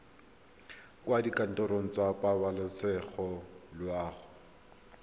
kwa dikantorong tsa pabalesego loago